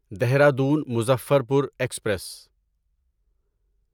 Dehradun Muzaffarpur express